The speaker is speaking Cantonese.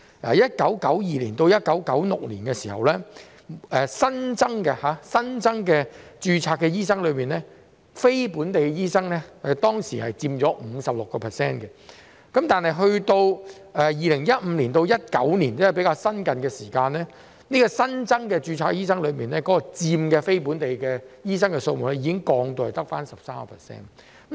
在1992年至1996年，持有非本地醫學資格的新增註冊醫生所佔比例為 56%， 但到了2015年至2019年，即較近期，持有非本地醫學資格的新增註冊醫生所佔比例已降至只有 13%。